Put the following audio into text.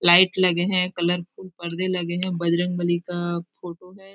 Light लगे हैं colourful पर्दे लगे हैं बजरंग बली का फोटो है।